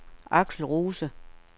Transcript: Aksel Rose